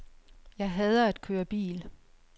Jeg hader at køre bil.